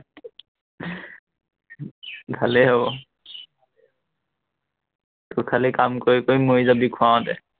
ভালেই হব তোৰ খালি কাম কৰি কৰি মৰিস যাবি খোৱাওতে।